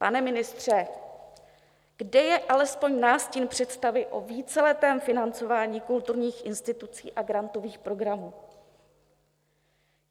Pane ministře, kde je alespoň nástin představy o víceletém financování kulturních institucí a grantových programů?